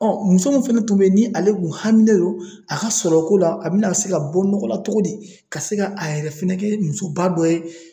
muso min fɛnɛ tun bɛ yen ni ale kun haminen don a ka sɔrɔ ko la a bɛna se ka bɔ nɔgɔ la cogo di ka se ka a yɛrɛ fɛnɛ kɛ musoba dɔ ye